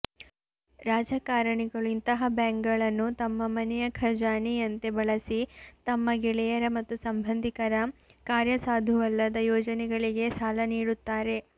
ರಾಜಕಾರಣಿಗಳು ಇಂತಹ ಬ್ಯಾಂಕ್ಗಳನ್ನು ತಮ್ಮ ಮನೆಯ ಖಜಾನೆಯಂತೆ ಬಳಸಿ ತಮ್ಮ ಗೆಳೆಯರ ಮತ್ತು ಸಂಬಂಧಿಕರ ಕಾರ್ಯಸಾಧುವಲ್ಲದ ಯೋಜನೆಗಳಿಗೆ ಸಾಲ ನೀಡುತ್ತಾರೆ